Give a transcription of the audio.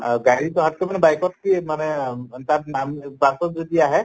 আহ গাড়ীত আহাতকে মানে bike তে মানে তাত নাম bus ত যদি আহে